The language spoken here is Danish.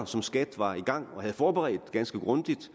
som skat var i gang med og havde forberedt ganske grundigt